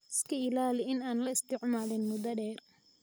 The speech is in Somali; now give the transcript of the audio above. iska ilaali in aan la isticmaalin muddo dheer.